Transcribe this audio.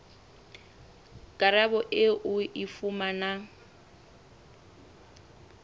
karabo eo o e fumanang